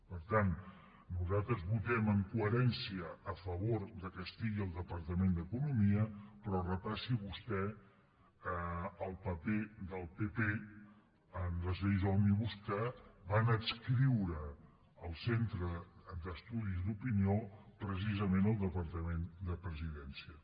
per tant nosaltres votem en coherència a favor que estigui al departament d’economia però repassi vostè el paper del pp en les lleis òmnibus que van adscriure el centre d’estudis d’opinió precisament al departament de la presidència